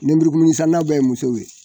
Nemurukumuni sanna bɛ ye musow ye.